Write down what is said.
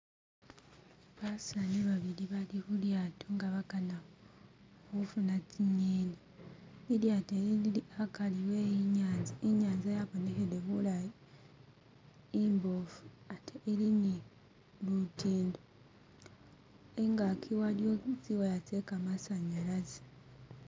Basaani babili nga bali khulyato nga bakana khufuna tsinyeni lilyato eli lili akari we inyanza inyaza yabonekhele bulayi imbofu ate ili ni lutindo ingaki waliyo tsi'wire tse kamasanyalaze.